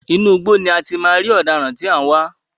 Inú igbó ni a ti máa rí ọ̀daràn tí a ń wá.